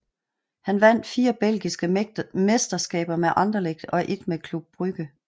Han vandt fire belgiske mesterskaber med Anderlecht og ét med Club Brugge